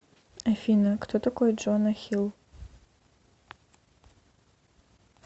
афина кто такой джона хилл